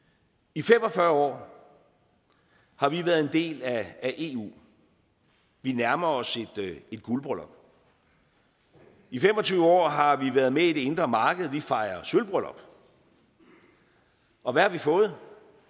i fem og fyrre år har vi været en del af eu vi nærmer os et guldbryllup i fem og tyve år har vi været med i det indre marked vi fejrer sølvbryllup og hvad har vi fået